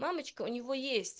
мамочка у него есть